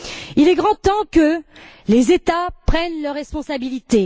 Il est grand temps que les États prennent leurs responsabilités.